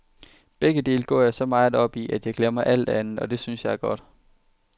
Begge dele går jeg så meget op i, at jeg glemmer alt andet, og det synes jeg er godt.